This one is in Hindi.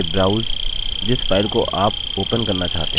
file चुनें और open पर click करें